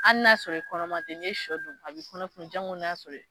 Hali n'a y'a sɔrɔ i kɔnɔma tɛ n'i ye sɔ dun a bɛ kɔnɔ funun janko n'a y'a i